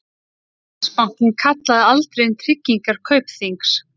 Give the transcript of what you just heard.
Landsbankinn kallaði aldrei inn tryggingar Kaupþings